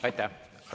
Aitäh!